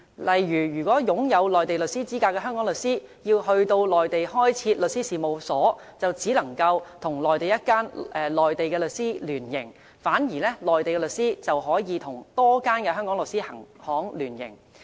例如擁有內地律師資格的香港律師要到內地開設律師事務所，就只能跟內地一間內地律師行聯營，反之內地律師行則可與多間香港律師行聯營。